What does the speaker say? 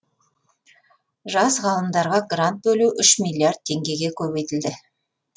жас ғалымдарға грант бөлу үш миллиард теңгеге көбейтілді